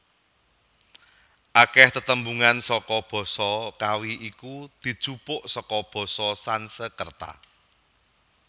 Akèh tetembungan saka basa Kawi iku dijupuk saka basa Sansekreta